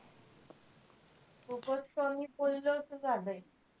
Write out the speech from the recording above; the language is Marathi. खूपच कमी बोललो असं झालंय.